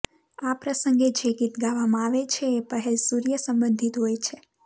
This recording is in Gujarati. આ પ્રસંગે જે ગીત ગાવામાં આવે છે એ પહેલ સૂર્ય સંબંધિત હોય છે